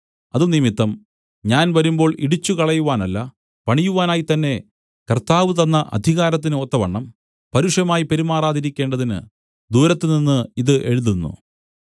അതുനിമിത്തം ഞാൻ വരുമ്പോൾ ഇടിച്ചുകളയുവാനല്ല പണിയുവാനായിത്തന്നെ കർത്താവ് തന്ന അധികാരത്തിന് ഒത്തവണ്ണം പരുഷമായി പെരുമാറാതിരിക്കേണ്ടതിന് ദൂരത്തുനിന്ന് ഇത് എഴുതുന്നു